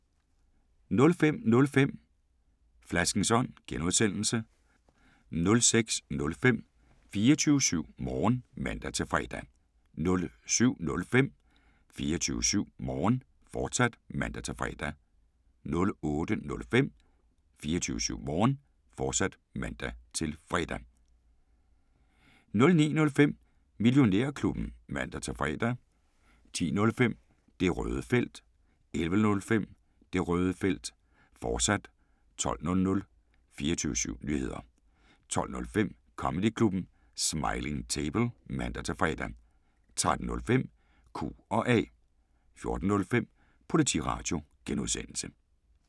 05:05: Flaskens Ånd (G) 06:05: 24syv Morgen (man-fre) 07:05: 24syv Morgen, fortsat (man-fre) 08:05: 24syv Morgen, fortsat (man-fre) 09:05: Millionærklubben (man-fre) 10:05: Det Røde Felt 11:05: Det Røde Felt, fortsat 12:00 24syv Nyheder 12:05: Comedyklubben Smiling Table (man-fre) 13:05: Q&A 14:05: Politiradio (G)